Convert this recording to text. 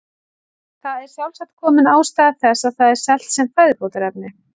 Þar er sjálfsagt komin ástæða þess að það er selt sem fæðubótarefni.